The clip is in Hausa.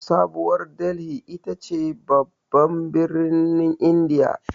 Sabuwar Dalhi ita ce babban birnin indiya.